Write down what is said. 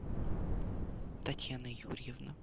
татьяна юрьевна